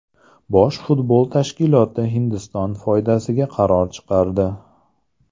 Bosh futbol tashkiloti Hindiston foydasiga qaror chiqardi.